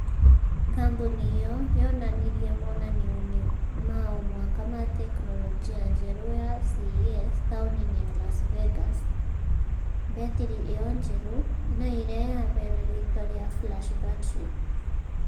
Kambũni ĩyo yonanirie monanio-inĩ ma omwaka ma teknolojia njerũ ya CES taũni-inĩ ya Las Vegas , mbetiri ĩyo njerũ na ĩrĩa yaheirwo rĩtwa rĩa FlashBattery .